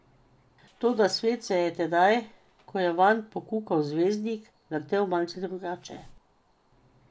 Toda svet se je tedaj, ko je vanj pokukal zvezdnik, vrtel malce drugače.